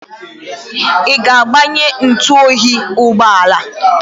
Ị ga-agbanye ntụoyi ụgbọala a?